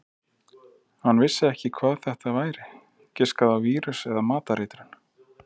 Hann vissi ekki hvað þetta væri, giskaði á vírus eða matareitrun.